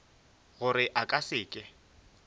gore a ka se ke